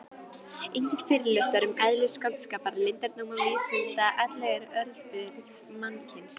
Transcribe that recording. Engir fyrirlestrar um eðli skáldskapar, leyndardóma vísinda ellegar örbirgð mannkyns.